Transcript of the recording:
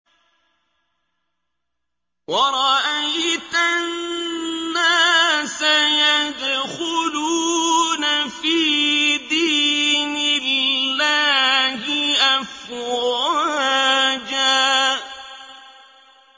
وَرَأَيْتَ النَّاسَ يَدْخُلُونَ فِي دِينِ اللَّهِ أَفْوَاجًا